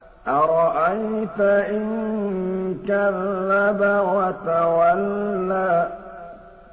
أَرَأَيْتَ إِن كَذَّبَ وَتَوَلَّىٰ